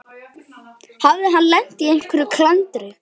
Hafði hann lent í einhverju klandri?